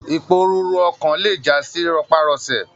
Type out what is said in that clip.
Iporúrú ọkan lè jasi rọpárọsẹ̀.